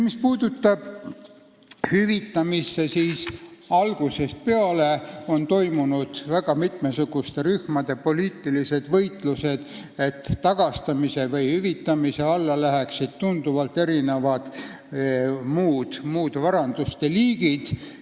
Mis puutub hüvitamisse, siis algusest peale on toimunud väga mitmesuguste rühmade poliitilised võitlused, et tagastamise või hüvitamise alla läheksid ka muud vara liigid.